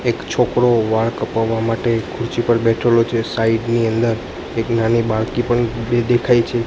એક છોકરો વાળ કપાવા માટે એક ખુરચી પર બેઠેલો છે સાઈડ ની અંદર એક નાની બાળકી પણ બે દેખાઈ છે.